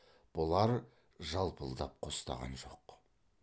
бұлар жалпылдап қостаған жоқ